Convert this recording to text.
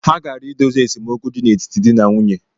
Ha gara idozi esemokwu di n’etiti di na nwunye